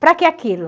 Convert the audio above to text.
Para que aquilo?